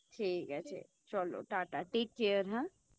ঠিক আছে চলো টাটা Take care হা